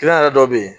yɛrɛ dɔ be yen